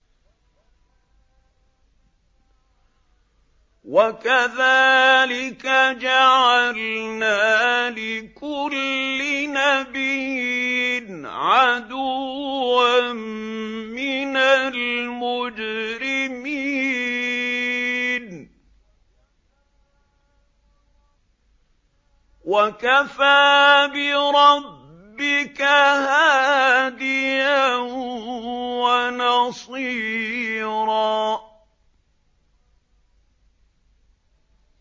وَكَذَٰلِكَ جَعَلْنَا لِكُلِّ نَبِيٍّ عَدُوًّا مِّنَ الْمُجْرِمِينَ ۗ وَكَفَىٰ بِرَبِّكَ هَادِيًا وَنَصِيرًا